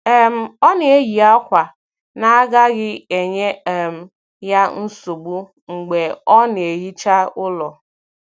um Ọ na-eyi akwa na agaghị enye um ya nsogbu mgbe ọ na-ehicha ụlọ.